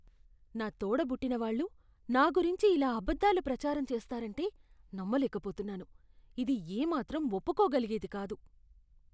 నా తోడ పుట్టినవాళ్ళు నా గురించి ఇలా అబద్ధాలు ప్రచారం చేస్తారంటే నమ్మలేకపోతున్నాను. ఇది ఏ మాత్రం ఒప్పుకోగలిగేది కాదు.